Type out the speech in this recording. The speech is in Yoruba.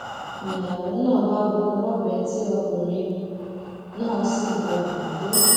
niyàwó náà bá gún un lọbẹ tí ọkùnrin náà sì gbabẹ kú